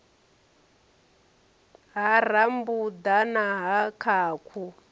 ha rambuḓa na ha khakhu